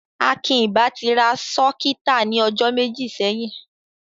Akín ì bá ti rá sọ́kítà ní ojó mẹ́jì sẹ́yìn.